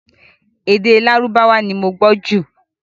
Èdè Lárúbáwá ni mo gbọ́ jù